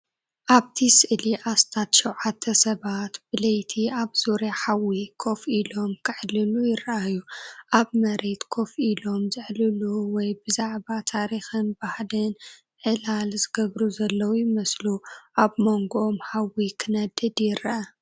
ኣብቲ ስእሊ ኣስታት ሸውዓተ ሰባት ብለይቲ ኣብ ዙርያ ሓዊ ኮፍ ኢሎም ክዕልሉ ይረኣዩ። ኣብ መሬት ኮፍ ኢሎም፡ ዘዕልሉ ወይ ብዛዕባ ታሪኽን ባህልን ዕላል ዝገብሩ ዘለዉ ይመስሉ። ኣብ መንጎኦም ሓዊ ክነድድ ይርአ።